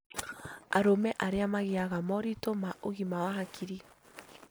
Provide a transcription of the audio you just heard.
Arũme arĩa magĩaga moritũ ma ũgima wa hakiri